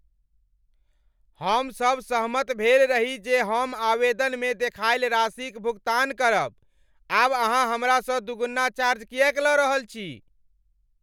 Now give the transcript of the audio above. हम सभ सहमत भेल रही जे हम आवेदनमे देखायल राशिक भुगतान करब। आब अहाँ हमरासँ दुगुना चार्ज किएक लऽ रहल छी?